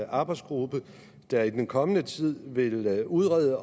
arbejdsgruppe der i den kommende tid vil vil udrede